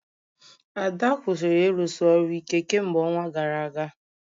Ada kwụsịrị ịrụsi ọrụ ike kemgbe ọnwa gara aga